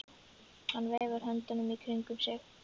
Hann veifar höndunum í kringum sig.